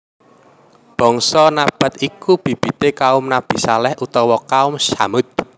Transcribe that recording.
Bangsa Nabath iku bibite kaum Nabi Shaleh utawa Kaum Tsamud